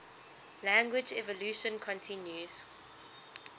language evolution continues